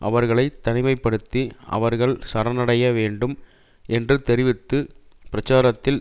அவர்களை தனிமை படுத்தி அவர்கள் சரணடைய வேண்டும் என்று தொடுத்துள்ள பிரச்சாரத்தில்